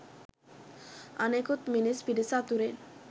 අනෙකුත් මිනිස් පිරිස අතුරෙන්